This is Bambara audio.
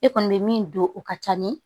E kɔni bɛ min don o ka ca ni